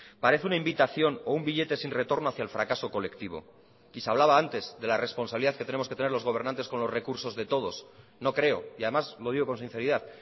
parece una invitación o un billete sin retorno hacia el fracaso colectivo y se hablaba antes de la responsabilidad que tenemos que tener los gobernantes con los recursos de todos no creo y además lo digo con sinceridad